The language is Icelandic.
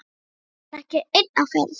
Hann var ekki einn á ferð.